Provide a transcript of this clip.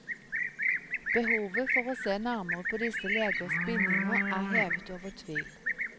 Behovet for å se nærmere på disse legers bindinger er hevet over tvil.